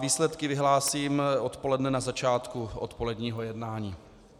Výsledky vyhlásím odpoledne na začátku odpoledního jednání.